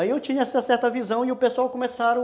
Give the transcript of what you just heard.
Aí eu tinha certa visão e o pessoal começaram